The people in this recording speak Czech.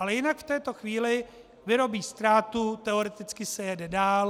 Ale jinak v této chvíli - vyrobí ztrátu, teoreticky se jede dál.